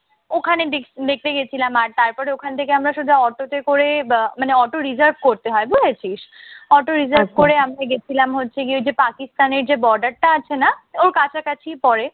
ওখানে দেখ দেখতে গেছিলাম আর তারপরে ওখান থেকে আমরা সোজা অটোতে করে মানে auto reserve করতে হয় বুঝেছিস? auto reserve করে আমরা গেছিলাম হচ্ছে গিয়ে ওই যে পাকিস্তানের যে border টা আছে না ওর কাছাকাছি পরে।